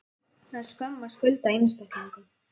Það er skömm að skulda einstaklingum.